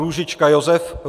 Růžička Josef